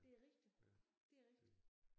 Det er rigtigt det er rigtigt